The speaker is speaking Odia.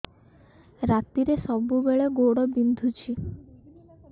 ରାତିରେ ସବୁବେଳେ ଗୋଡ ବିନ୍ଧୁଛି